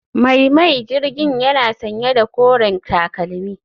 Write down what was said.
Mai mai jirgin yana sanye da koren takalmi